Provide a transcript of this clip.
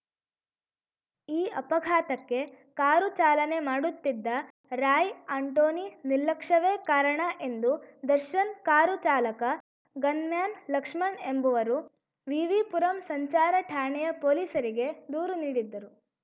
ಈ ಅಪಘಾತಕ್ಕೆ ಕಾರು ಚಾಲನೆ ಮಾಡುತ್ತಿದ್ದ ರಾಯ್‌ ಆಂಟೋನಿ ನಿರ್ಲಕ್ಷ್ಯವೇ ಕಾರಣ ಎಂದು ದರ್ಶನ್‌ ಕಾರು ಚಾಲಕ ಗನ್‌ಮ್ಯಾನ್‌ ಲಕ್ಷ್ಮಣ್‌ ಎಂಬುವರು ವಿವಿ ಪುರಂ ಸಂಚಾರ ಠಾಣೆಯ ಪೊಲೀಸರಿಗೆ ದೂರು ನೀಡಿದ್ದರು